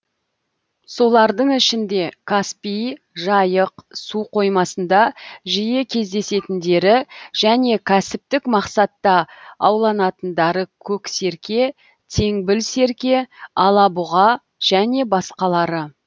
солардың ішінде каспий жайық су қоймасында жиі кездесетіндері және кәсіптік мақсатта ауланатындары көксерке теңбіл серке алабұға және басқалары